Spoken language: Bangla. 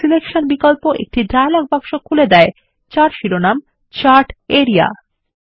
ফরম্যাট সিলেকশন বিকল্প একটি ডায়লগ বক্স খুলে দেয় যার শিরোনাম চার্ট আরিয়া